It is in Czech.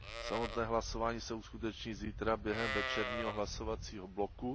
Samotné hlasování se uskuteční zítra během večerního hlasovacího bloku.